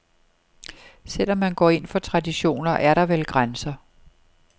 Selv om man går ind for traditioner, er der vel grænser.